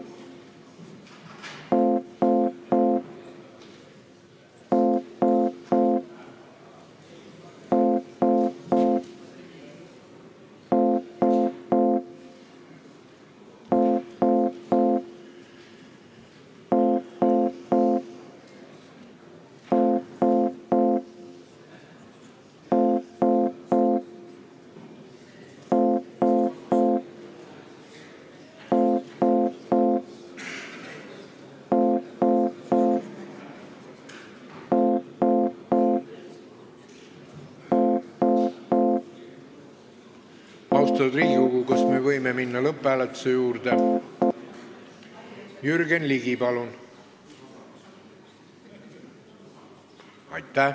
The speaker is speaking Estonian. Austatud Riigikogu, kas me võime minna lõpphääletuse juurde?